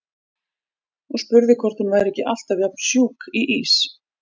Og spurði hvort hún væri ekki alltaf jafn sjúk í ís.